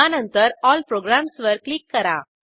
यानंतर ऑल प्रोग्राम्सवर क्लिक करा